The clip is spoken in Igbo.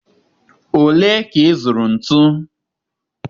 ole ka ị zụrụ ntu?